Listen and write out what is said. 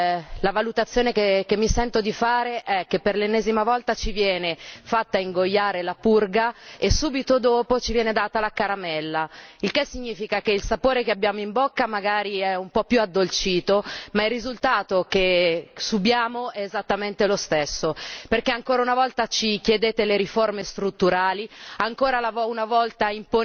Ovviamente, la valutazione che mi sento di fare è che per l'ennesima volta ci viene fatta ingoiare la purga e subito dopo ci viene data la caramella, il che significa che il sapore che abbiamo in bocca magari è un po' più addolcito ma il risultato che subiamo è esattamente lo stesso perché ancora una volta ci chiedete le riforme strutturali,